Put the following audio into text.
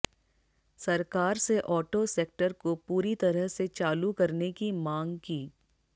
सरकार से auto sector को पूरी तरह से चालू करने की मांग की